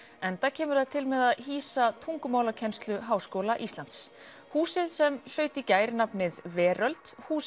enda kemur það til með að hýsa tungumálakennslu Háskóla Íslands húsið sem hlaut í gær nafnið Veröld hús